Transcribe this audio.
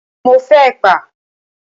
Mo fẹ́ ẹ̀pà.